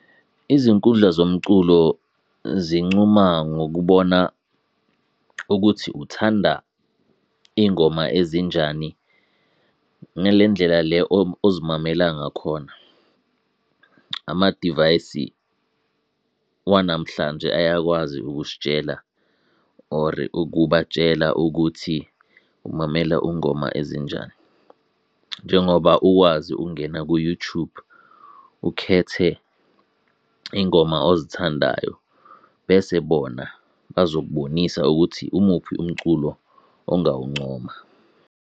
Izinkundla zomculo zincuma ngokubona ukuthi uthanda iy'ngoma ezinjani ngale ndlela le ozimamela ngakhona. Amadivayisi wanamhlanje ayakwazi ukusitshela or ukubatshela ukuthi umamela ungoma ezinjani, njengoba uwazi ukungena ku-YouTube ukhethe iy'ngoma ozithandayo bese bona bazokubonisa ukuthi umuphi umculo ongawuncoma.